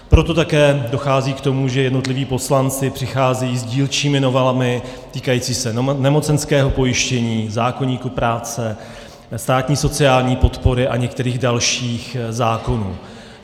Proto také dochází k tomu, že jednotliví poslanci přicházejí s dílčími novelami týkajícími se nemocenského pojištění, zákoníku práce, státní sociální podpory a některých dalších zákonů.